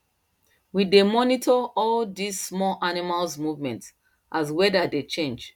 we dey monitors all these small animals movement as weather dey change